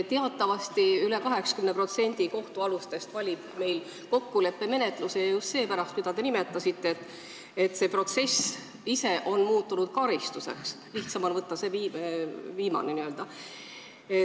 Teatavasti üle 80% kohtualustest valib meil kokkuleppemenetluse just seepärast, mida te nimetasite: see protsess ise on muutunud karistuseks, lihtsam on võtta see viimane lahendus.